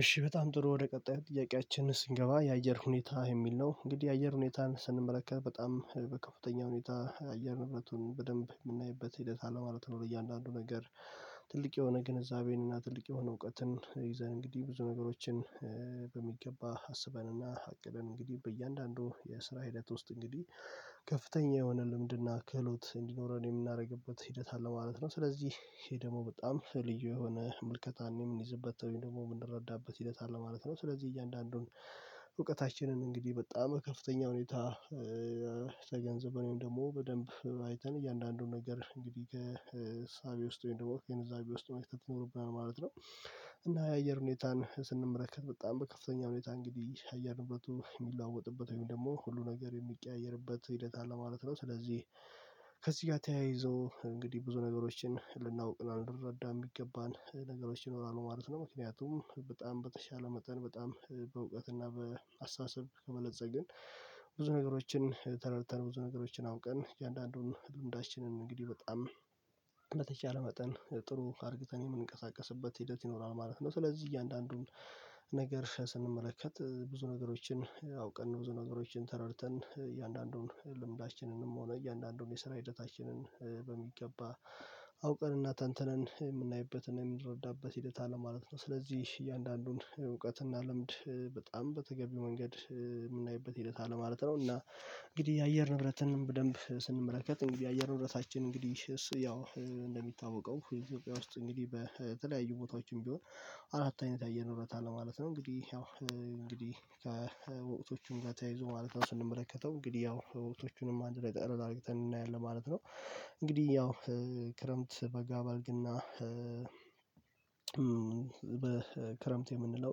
እሺ በጣም ጥሩ ወደ ቀጣይ ጥያቄያችን ስንገባ የአየር ሁኔታ የሚል ነው። እንግዲህ የአየር ሁኔታን ስንመለከት በጣም በከፍተኛ ሁኔታ የአየር ንብረቱን በደንብ የምናይበት ሂደት አለማለት ነው። እያንዳንዱ ነገር ትልቅ የሆነ ግንዛቤን እና ትልቅ የሆነ እውቀትን ይዘን እንግዲህ ብዙ ነገሮችን በሚገባ አስበንና አቅደን እንግዲህ በእያንዳንዱ የስራ ሂደት ውስጥ እንግዲህ ከፍተኛ የሆነ ልምድና ክህሎት እንዲኖረን የምናደርግበት ሂደት አለ ማለት ነው። ስለዚህ ይሄ ደግሞ በጣም ልዩ የሆነ ምልከታን የምንይዝበት ወይም ደግሞ የምንረዳበት ሂደት አለ ማለት ነው። ስለዚህ እያንዳንዱን እውቀታችንን እንግዲህ በጣም ከፍተኛ ሁኔታ ተገንዝበን ወይም ደግሞ በደንብ አይተን እያንዳንዱን ነገር እንግዲህ ከ እሳቤ ውስጥ ወይም ደግሞ ግንዛቤ ውስጥ መክተት ይኖርብናል ማለት ነው። እና የአየር ሁኔታን ስንመለከት በጣም በከፍተኛ ሁኔታ እንግዲህ የአየር ንብረቱ የሚለዋወጥበት ወይም ደግሞ ሁሉ ነገር የሚቀያየርበት ሂደት አለ ማለት ነው። ስለዚህ ከዚህ ጋር ተያይዞ እንግዲህ ብዙ ነገሮችን ልናውቅ እና ልንረዳ የሚገባን ነገሮች ይኖራሉ ማለት ነው። ምክንያቱም በጣም በተሻለ መጠን በጣም በእውቀት እና በአስተሳሰብ ከበለፀግን ብዙ ነገሮችን ተረድተን ብዙ ነገሮችን አውቀን እያንዳንዱን ህልውናችንን እንግዲህ በጣም እንደተቻለ መጠን ጥሩ አርግተን የምንቀሳቀስበት ሂደት ይኖራል ማለት ነው። ስለዚህ እያንዳንዱን ነገር ስንመለከት ብዙ ነገሮችን አውቀን ብዙ ነገሮችን ተረድተን እያንዳንዱን ልምዳችንንም ሆነ እያንዳንዱን የስራ ሂደታችንን በሚገባ አውቀንና ተንተንን የምናይበትን የምንረዳበት ሂደት አለ ማለት ነው። ስለዚህ እያንዳንዱን እውቀት እናልምድ በጣም በተገቢው መንገድ የምናይበት ሂደት አለ ማለት ነው። እና እንግዲህ የአየር ንብረትን በደንብ ስንመለከት የአየር ንብረታችን እንግዲህ ያው እንደሚታወቀው ውስጥ እንግዲህ በተለያዩ ቦታዎችም ቢሆን አራት አይነት አየር ንብረት አለ ማለት ነው። እንግዲህ ያው እንግዲህ ከወቅቶቹም ጋር ተያይዞ ማለት ነው ስንመለከተው እንግዲህ ያው ወቅቶቹንም አንድ ላይ ጠርር አርግተን እናያለን ማለት ነው። እንግዲህ ያው ክረምት በጋ በልግ እና ክረምት የምንለው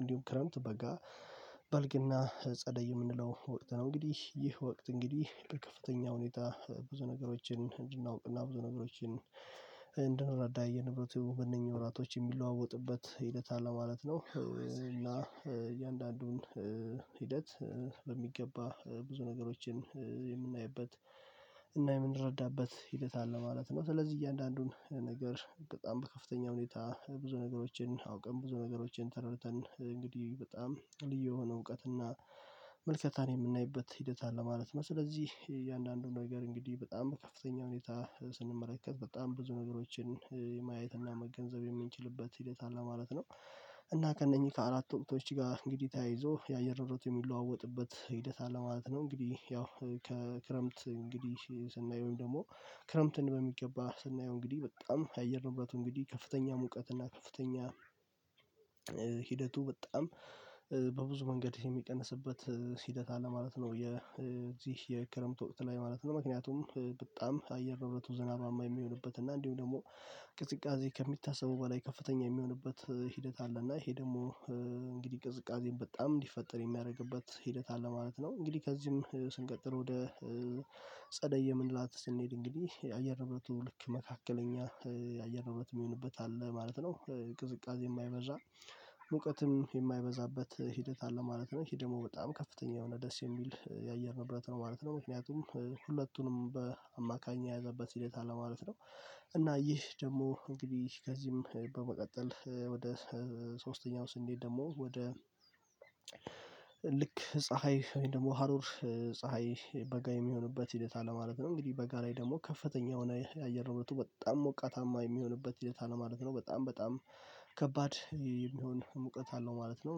እንዲሁም ክረምት በጋ በልግና ጸደይ የምንለው ወቅት ነው። እንግዲህ ይህ ወቅት እንግዲህ በከፍተኛ ሁኔታ ብዙ ነገሮችን እንድናውቅና ብዙ ነገሮችን እንድንረዳ የንብረት ሆነኛ ወራቶች የሚለዋወጡበት ሂደት አለ ማለት ነው። እና እያንዳንዱን ሂደት በሚገባ ብዙ ነገሮችን የምናይበት እና የምንረዳበት ሂደት አለ ማለት ነው። ስለዚህ እያንዳንዱን ነገር በጣም በከፍተኛ ሁኔታ ብዙ ነገሮችን አውቀን ብዙ ነገሮችን ተረድተን እንግዲህ በጣም ልዩ የሆነ እውቀት እና ምልከታን የምናይበት ሂደት አለ ማለት ነው። ስለዚህ የእያንዳንዱን ነገር እንግዲህ በጣም በከፍተኛ ሁኔታ ስንመለከት በጣም ብዙ ነገሮችን ማየት እና መገንዘብ የምንችልበት ሂደት አለ ማለት ነው። እና ከእነኚህ ከአራቱ ወቅቶች ጋር እንግዲህ ተያይዞ የአየር ንብረት የሚለዋወጥበት ሂደት አለ ማለት ነው። እንግዲህ ያው ከክረምት እንግዲህ ስናየው ወይም ደግሞ ክረምትን በሚገባ ስናየው እንግዲህ በጣም የአየር ንብረት እንግዲህ ከፍተኛ ሙቀት እና ከፍተኛ ሂደቱ በጣም በብዙ መንገድ የሚቀንስበት ሂደት አለ ማለት ነው። የዚህ የክረምት ወቅት ላይ ማለት ነው ምክንያቱም በጣም አየር ንብረቱ ዝናባማ የሚሆንበት እና እንዲሁ ደግሞ ቅዝቃዜ ከሚታሰበው በላይ ከፍተኛ የሚሆንበት ሂደት አለ እና ይሄ ደግሞ እንግዲህ ቅዝቃዜን በጣም እንዲፈጠር የሚያደርግበት ሂደት አለ ማለት ነው። እንግዲህ ከዚህም ስንቀጥል ወደ ጸደይ የምንላት ስንሄድ እንግዲህ የአየር ንብረቱ ልክ መካከለኛ የአየር ንብረት የሚሆንበት አለ ማለት ነው። ቅዝቃዜ የማይበዛ ሙቀትም የማይበዛበት ሂደት አለ ማለት ነው። ይሄ ደግሞ በጣም ከፍተኛ የሆነ ደስ የሚል የአየር ንብረት ነው ማለት ነው። ምክንያቱም ሁለቱንም በአማካኝ የያዘበት ሂደት አለ ማለት ነው። እና ይህ ደግሞ እንግዲህ ከዚህም በመቀጠል ወደ ሶስተኛው ስንሄድ ደግሞ ወደ ልክ ፀሀይ ወይም ደግሞ ሀሩር ፀሀይ በጋ የሚሆኑበት ሂደት አለ ማለት ነው። እንግዲህ በጋ ላይ ደግሞ ከፍተኛ የሆነ የአየር ንብረቱ በጣም ሞቃታማ የሚሆንበት ሂደት አለ ማለት ነው በጣም በጣም ከባድ የሚሆን ሙቀት አለው ማለት ነው።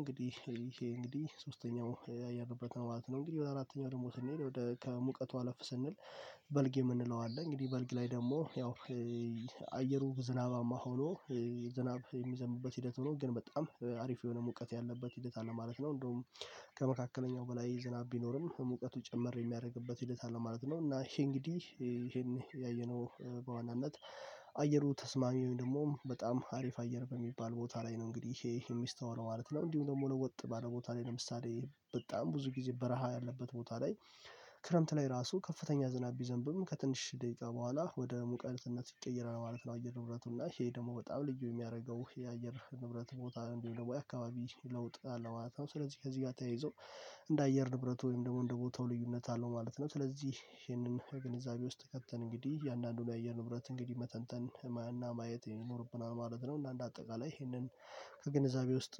እንግዲህ ይሄ እንግዲህ ሶስተኛው ያየንበት ነው ማለት ነው። እንግዲህ ወደ አራተኛው ደግሞ ስንሄድ ወደ ከሙቀቱ አለፍ ስንል በልግ የምንለው አለ። እንግዲህ በልግ ላይ ደግሞ ያው አየሩ ዝናባማ ሆኖ ዝናብ የሚዘንብበት ሂደት ሆኖ ግን በጣም አሪፍ የሆነ ሙቀት ያለበት ሂደት አለ ማለት ነው። እንደውም ከመካከለኛው በላይ ዝናብ ቢኖርም ሙቀቱ ጨመር የሚያደርግበት ሂደት አለ ማለት ነው። እና ይሄ እንግዲህ ይሄን ያየነው በዋናነት አየሩ ተስማሚ ወይም ደግሞ በጣም አሪፍ አየር በሚባል ቦታ ላይ ነው እንግዲህ ይሄ የሚስተዋለው ማለት ነው። እንዲሁ ደግሞ ለወጥ ባለ ቦታ ላይ ለምሳሌ በጣም ብዙ ጊዜ በረሃ ያለበት ቦታ ላይ ክረምት ላይ ራሱ ከፍተኛ ዝናብ ቢዘንብም ከትንሽ ደቂቃ በኋላ ወደ ሙቀትነት ይቀየራል ማለት ነው። አየር ንብረቱ እና ይሄ ደግሞ በጣም ልዩ የሚያደርገው የአየር ንብረት ቦታ እንዲሆን በአካባቢ ለውጥ አለ ማለት ነው። ስለዚህ ከዚህ ጋር ተያይዞ እንደ አየር ንብረት ወይም ደግሞ እንደ ቦታው ልዩነት አለው ማለት ነው። ስለዚህ ይሄንን ግንዛቤ ውስጥ ከተን እንግዲህ እያንዳንዱን የአየር ንብረት እንግዲህ መተንተን ህማና ማየት ይኖርብናል ማለት ነው። እና እንደ አጠቃላይ ይሄንን ከግንዛቤ ውስጥ